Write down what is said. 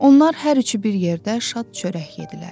Onlar hər üçü bir yerdə şad çörək yedlər.